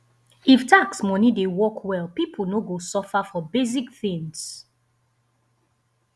if tax money dey work well people no go suffer for basic things